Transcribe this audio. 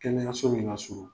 Kɛnɛyaso min ka surun